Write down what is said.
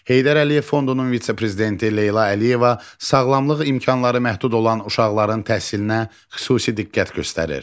Heydər Əliyev Fondunun vitse-prezidenti Leyla Əliyeva sağlamlıq imkanları məhdud olan uşaqların təhsilinə xüsusi diqqət göstərir.